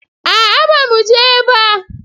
A'a bamu je ba